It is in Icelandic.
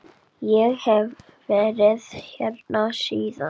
Ég hef verið hérna síðan.